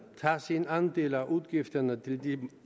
tage sin andel af udgifterne til de